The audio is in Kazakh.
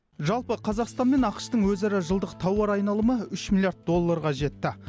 жалпы қазақстан мен ақш тың өзара жылдық тауар айналымы үш миллиард долларға жетті